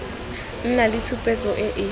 nna le tshupetso e e